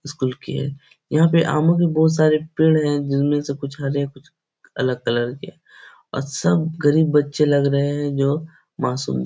school की है यहाँ पे आमो के बोहोत सारे पेड़ हैं जिनमे से कुछ हरे कुछ अलग कलर के और सब गरीब बच्चे लग रहे हैं जो मासूम --